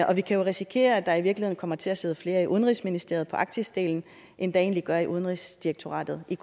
og vi kan jo risikere at der i virkeligheden kommer til at sidde flere i udenrigsministeriet på arktisdelen end der egentlig gør i udenrigsdirektoratet i